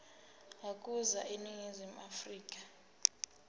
ukuza eningizimu afrika